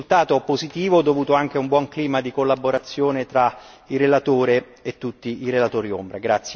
Quindi, un risultato positivo dovuto anche a un buon clima di collaborazione fra il relatore e tutti i relatori ombra.